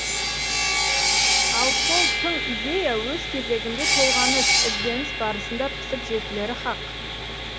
ал сол тың идея өз кезегінде толғаныс ізденіс барысында пісіп жетілері хақ